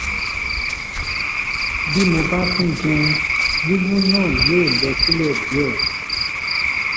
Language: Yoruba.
bí mo bá tún jẹun wíwú náà yóò lọ sílẹ̀ díẹ̀